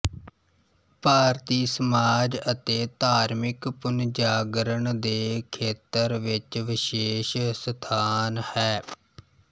ਭਾਰਤੀ ਸਮਾਜ ਅਤੇ ਧਾਰਮਿਕ ਪੁੱਨਜਾਗਰਨ ਦੇ ਖੇਤਰ ਵਿੱਚ ਵਿਸ਼ੇਸ਼ ਸਥਾਨ ਹੈ